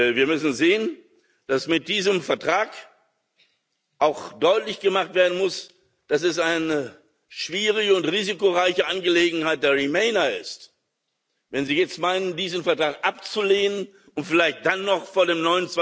Wir müssen sehen, dass mit diesem Vertrag auch deutlich gemacht werden muss, dass es eine schwierige und risikoreiche Angelegenheit der Remainer ist, wenn sie jetzt meinen, diesen Vertrag abzulehnen und vielleicht dann noch vor dem